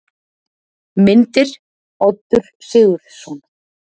Myndir: Oddur Sigurðsson.